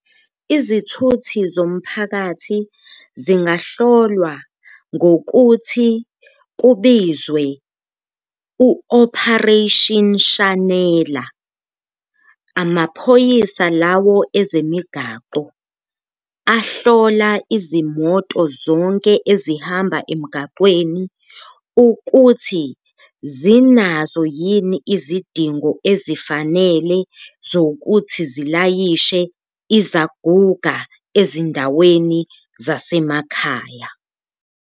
Izithuthi zomphakathi zingahlolwa ngokuthi kubizwe u-operation shanela, amaphoyisa lawo ezemigaqo ahlola izimoto zonke ezihamba emgaqweni ukuthi zinazo yini izidingo ezifanele zokuthi ziyalayishe izaguga ezindaweni zasemakhaya.